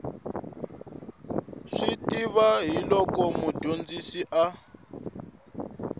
swi tiva hiloko mudyondzisi a